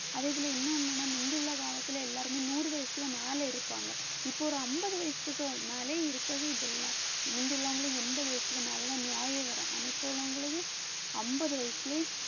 அதே போல இன்னொன்னு என்னன்னா முந்தி உள்ள காலத்துல எல்லாருமே நூறு வயசுல மேல இருப்பாங்க இப்ப ஒரு அம்பது வயசுக்கு மேல இருக்கவே இது இல்ல முந்தி உள்ளவங்களும் எண்பது வயசுக்கு மேலதான் நோயே வரும் ஆனா இப்ப உள்ளவங்களுக்கு அம்பது வயசுலயே